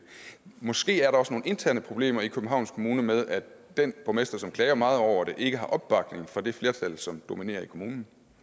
måske er der også nogle interne problemer i københavns kommune med at den borgmester som klager meget over det ikke har opbakning fra det flertal som dominerer i kommunen